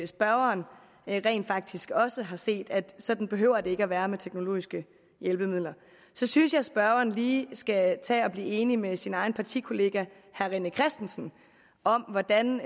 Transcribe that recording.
spørgeren rent faktisk også har set at sådan behøver det ikke at være med teknologiske hjælpemidler så synes jeg at spørgeren lige skal tage og blive enig med sin egen partikollega herre rené christensen om hvordan